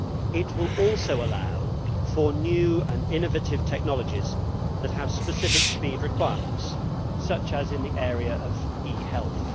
It will also allow for new and innovative technologies that have specific speed requirements, such as in the area of e health.